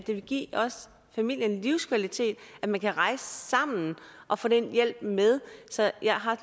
det vil give familien livskvalitet at man kan rejse sammen og får den hjælp med så jeg har